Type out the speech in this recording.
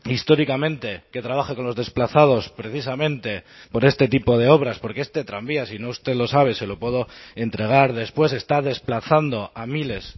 históricamente que trabaje con los desplazados precisamente por este tipo de obras porque este tranvía si no usted lo sabe se lo puedo entregar después está desplazando a miles